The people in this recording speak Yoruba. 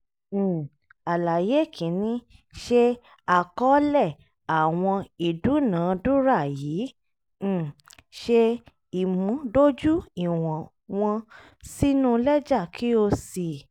um àlàyé kìíní: ṣe àkọọ́lẹ̀ àwọn ìdúnàádúrà yìí um ṣé ìmúdójú ìwọ̀n wọn sínú lẹ́jà kí kí o sì